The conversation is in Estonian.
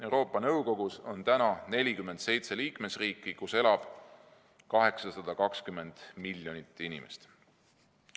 Euroopa Nõukogus on praegu 47 liikmesriiki, kus elab kokku 820 miljonit inimest.